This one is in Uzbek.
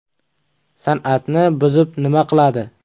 San’atni buzib nima qiladi.